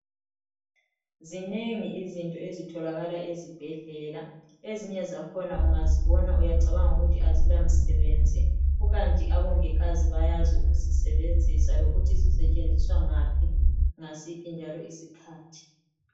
Zinengi izinto ezitholakala ezibhedlela. Ezinye zakhona ungazibona uyacabanga ukuthi azilamsebenzi. Kukanti abongikazi bayazi ukuzisebenzisa lokuthi zisetshenziswa ngaphi ngasiphi njalo isikhathi.